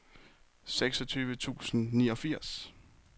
seksogtyve tusind og niogfirs